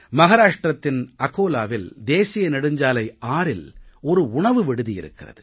மகாராஷ்ட்ரத்தின் அகோலாவில் தேசிய நெடுஞ்சாலை 6இல் ஒரு உணவு விடுதி இருக்கிறது